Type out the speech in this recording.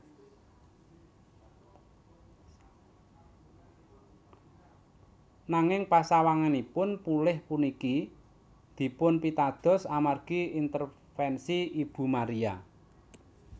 Nanging pasawanganipun pulih puniki dipunpitados amargi intervensi Ibu Maria